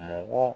Mɔgɔ